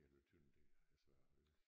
Eller Tønder der altså